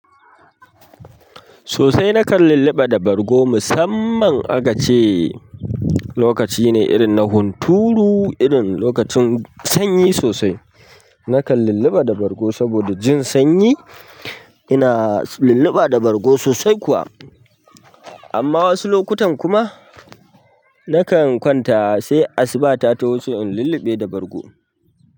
Sosai na kan luluɓa da bargo musamman aka ce lokaci na hunturu, irin lokacin sanyi sosai. Nakan lulluɓa da bargo saboda jin sanyi. Ina lulluɓa da bargo sosai kuwa. Amma wasu lokutan kuma nakan kwanta sai asuba ta tawo sosai in lulluɓe da bargo.